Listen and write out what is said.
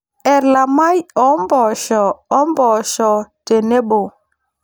Elamai oompoosho oompoosho tenebo.